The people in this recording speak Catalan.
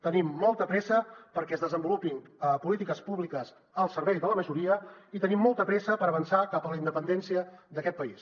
tenim molta pressa perquè es desenvolupin polítiques públiques al servei de la majoria i tenim molta pressa per avançar cap a la independència d’aquest país